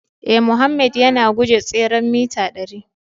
Ee, Mohammed yana guje tseren mita dari